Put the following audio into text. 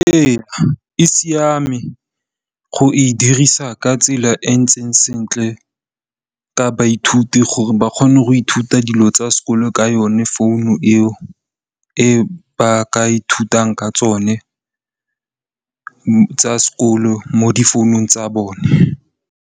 Ee e siame go e dirisa ka tsela e ntseng sentle ka baithuti gore ba kgone go ithuta dilo tsa sekolo ka yone founu eo, eo ba ka ithutang ka tsone tsa sekolo mo di founung tsa bone.